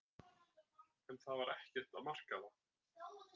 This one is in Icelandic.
En það var ekkert að marka það.